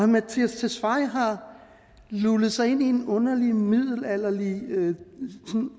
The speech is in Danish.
mattias tesfaye har lullet sig ind i en underlig middelalderlig